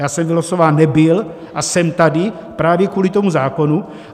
Já jsem vylosován nebyl a jsem tady právě kvůli tomu zákonu.